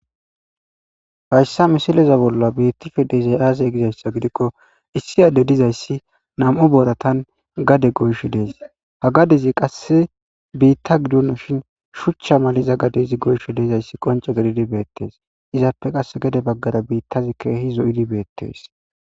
hayssa misileza bolla bettishe de7izzay aazee gizayssa gidikko issi adde dizayssi nam7u booratan gade goyshe dees ha gadezi qasse biitta gidonishin shuchcha maliza gadeza goyishe de7izayssi qonce gedidi beettees izappe qasse gede baggara biittazi keehi zo7idi beettes